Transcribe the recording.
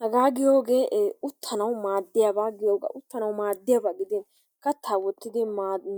Hagaaa giyoogee ee uttanawu maaddiyaaba giyoogaa. Uttanawu maadiyaaba giidin kattaa woottidi